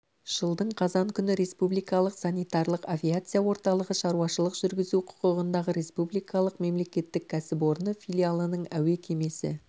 жылдың қазан күні республикалық санитарлық авиация орталығы шаруашылық жүргізу құқығындағы республикалық мемлекеттік кәсіпорны филиалының әуе кемесі